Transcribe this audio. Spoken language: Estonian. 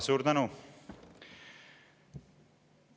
Suur tänu!